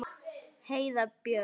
Heiða Björg.